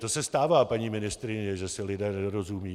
To se stává, paní ministryně, že si lidé nerozumějí.